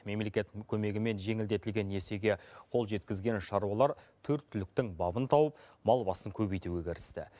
мемлекеттің көмегімен жеңілдетілген несиеге қол жеткізген шаруалар төрт түліктің бабын тауып мал басын көбейтуге кірісті